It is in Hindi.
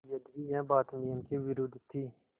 यद्यपि यह बात नियम के विरुद्ध थी